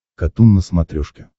катун на смотрешке